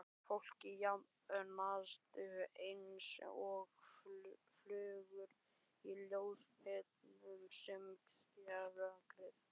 Fólkið safnast einsog flugur í ljóskeilurnar sem skera rökkrið.